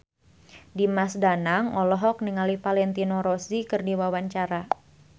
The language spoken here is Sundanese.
Dimas Danang olohok ningali Valentino Rossi keur diwawancara